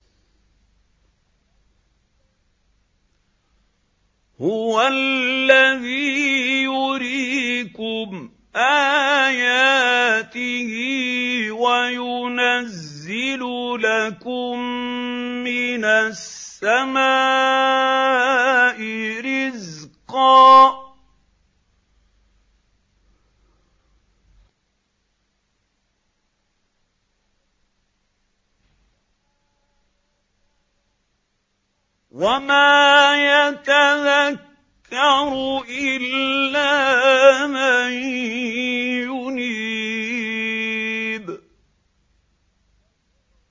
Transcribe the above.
هُوَ الَّذِي يُرِيكُمْ آيَاتِهِ وَيُنَزِّلُ لَكُم مِّنَ السَّمَاءِ رِزْقًا ۚ وَمَا يَتَذَكَّرُ إِلَّا مَن يُنِيبُ